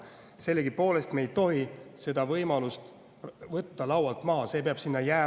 Sellegipoolest me ei tohi seda võimalust võtta laualt maha, see peab sinna edasi jääma.